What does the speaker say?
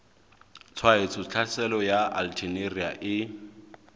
tshwaetso tlhaselo ya alternaria e